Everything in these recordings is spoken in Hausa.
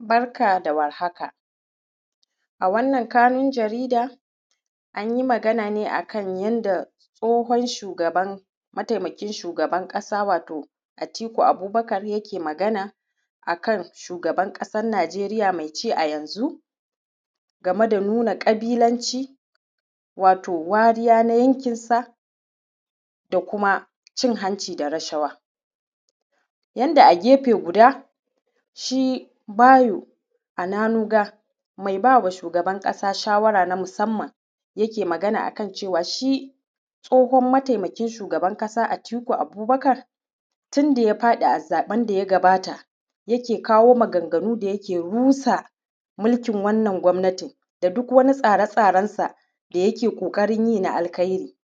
Barka da warhaka, a wannan kanun jarida an yi magana ne a kan yanda tsohon shugaban; mataimakin shugaban ƙasa, wato Atiku Abubakar yake magana, a kan shugaban ƙasan Najeriya me ci a yanzu game da nuna ƙabilanci. Wato, wariya na yankinsa da kuma cin hanci da rashawa yanda a gefe guda shi Bayo Ananuga, mai ba wa shugaban ƙasa shawara na musamman yake magana a kan cewa shi tsohon Mataimakin Shugaban ƙasa Atiku Abubakar, tin da ya faɗi a zaƃen da ya gabata, yake kawo maganganu da yake rusa milkin wannan gwabnatin da duk wani tsare-tsarensa da yake ƙoƙarin yin na alkairi.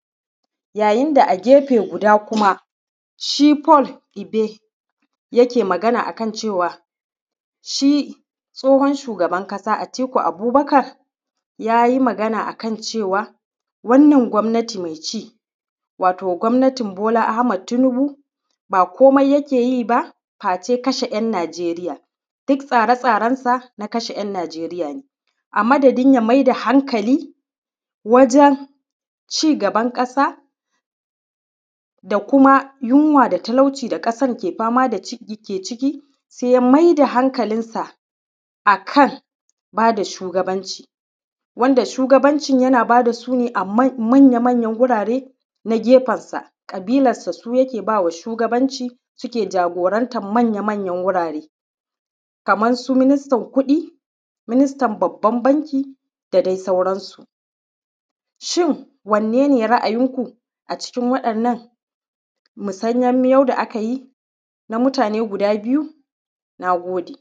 Yayin da a gefe guda kuma, shi Paul Egbe yake magana a kan cewa, shi Tsohon Shugaban Kasa Atiku Abubakar, ya yi magana a kan cewa, wannan gwabnati me ci, wato gwabnatin Bola Ahmad Tunibu ba komai yake yi ba, face kashe ‘Yan Najeriya. Dik tsare-tsarensa na kashe ‘Yan Najeriya ne, a madadin ya mai da halkali wajen cigaban ƙasa da kuma yinwa da talauci da ƙasar ke fama da ci; ke ciki, se ya mai da hankalinsa a kan ba da shugabanci. Wanda shugabancin yana ba da su ne a man; manya-manyan gurare na gefensa, ƙabilassa su yake ba wa shugabanci, sike jagorantan manya-manyan gurare. Kaman su ministan kuɗi, ministan babban banki, da dai sauransu, shin, wanne ne ra’ayinku a cikin waɗannan misanyan miyau da aka yi, na mutane guda biyu? Na gode.